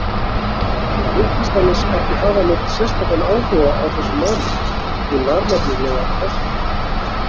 Hún virtist annars ekki hafa neinn sérstakan áhuga á þessum málum, hún var nefnilega ástfangin.